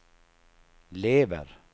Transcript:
lever